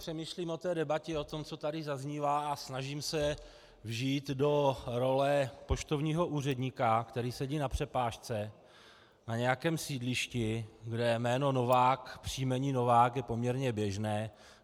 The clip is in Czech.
Přemýšlím o té debatě, o tom, co tady zaznívá, a snažím se vžít do role poštovního úředníka, který sedí na přepážce na nějakém sídlišti, kde jméno Novák, příjmení Novák je poměrně běžné.